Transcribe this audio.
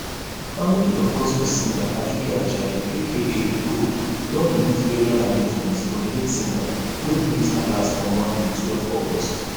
family of gospel singer aduke ajayi aka gold don release burial arrangements for di late singer wey breathe her last on monday twelve august